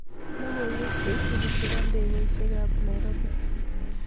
Logoywek cheisubi chebo ndekeishek kab Nairobi